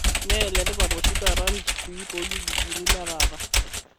Mmeletipat oshi taata lchifui toolkijijini letaata